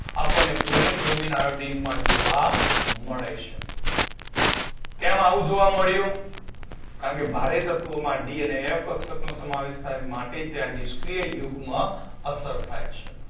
આપણને chlorine bromine iodine માં જોવા મળે છે. કેમ આવું જોવા મળ્યું? કારણ કે ભારે તત્વોમા D અને F કક્ષકનો સમાવેશ થાય માટે ત્યાં નિષ્ક્રિય યુગ્મ અસર થાય છે.